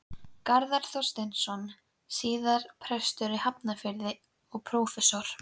Garðar Þorsteinsson, síðar prestur í Hafnarfirði og prófastur.